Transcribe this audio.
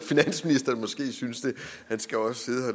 finansministeren måske synes det han skal også sidde